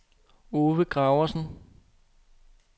Ove Graversen